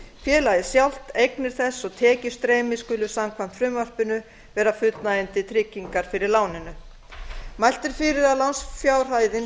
félagið sjálft eignir þess og tekjustreymi skulu samkvæmt frumvarpinu vera fullnægjandi tryggingar fyrir láninu mælt er fyrir um að lánsfjárhæðin